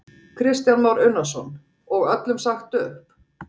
Kristján Már Unnarsson: Og öllum sagt upp?